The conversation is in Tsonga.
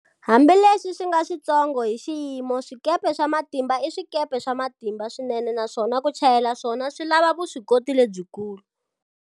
Hambileswi swi nga switsongo hi xiyimo, swikepe swa matimba i swikepe swa matimba swinene naswona ku chayela swona swi lava vuswikoti lebyikulu.